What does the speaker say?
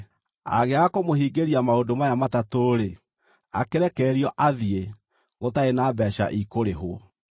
Angĩaga kũmũhingĩria maũndũ maya matatũ-rĩ, akĩrekererio athiĩ, gũtarĩ na mbeeca ikũrĩhwo.